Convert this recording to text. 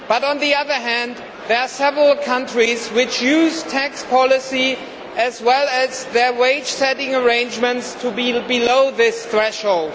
On the other hand, there are several countries which use tax policy as well as their wage setting arrangements to ensure they fall below this threshold.